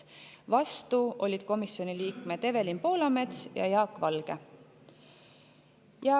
Vastu olid komisjoni liikmed Evelin Poolamets ja Jaak Valge.